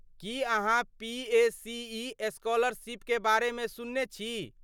की अहाँ पीएसीई स्कॉलरशीपकेँ बारेमे सुनने छी?